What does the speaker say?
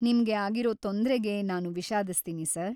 ನಿಮ್ಗೆ ಆಗಿರೋ ತೊಂದ್ರೆಗೆ ನಾನು ವಿಷಾದಿಸ್ತೀನಿ ಸರ್‌.